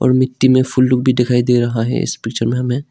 मिट्टी में फुल लोग दिखाई दे रहा है इस पिक्चर में हमें।